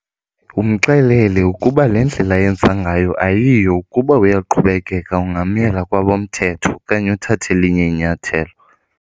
Umxelele ukuba le ndlela ayenza ngayo ayiyiyo, ukuba uyaqhubekeka ungamyela kwabomthetho okanye uthathe elinye inyathelo.